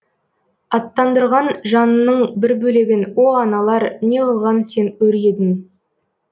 аттандырған жанының бір бөлегін о аналар неғылған сен өр едің